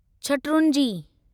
शटरूंजी